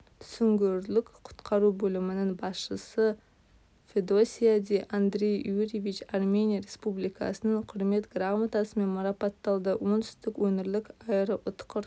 сүңгуірлік құтқару бөлімінің басшысы федосияди андрей юриевич армения республикасының құрмет грамотасымен марапатталды оңтүстік өңірлік аэроұтқыр